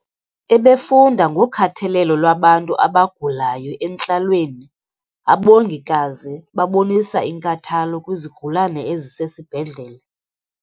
Ebefunda ngokhathalelo lwabantu abagulayo entlalweni. Abongikazi babonisa inkathalo kwizigulana ezisesibhedlele.